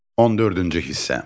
14-cü hissə.